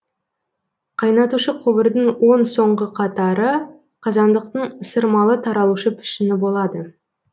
қайнатушы құбырдың он соңғы қатары қазандықтың ысырмалы таралушы пішіні болады